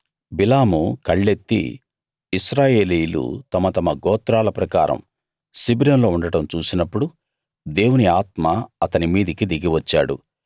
బిలాము కళ్ళెత్తి ఇశ్రాయేలీయులు తమ తమ గోత్రాల ప్రకారం శిబిరంలో ఉండడం చూసినప్పుడు దేవుని ఆత్మ అతని మీదికి దిగి వచ్చాడు